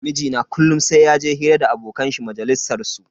Mijina kullum sai yaje hira da abokan shi majalisar su.